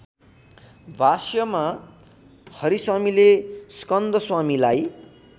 भाष्यमा हरिस्वामीले स्कंदश्वामीलाई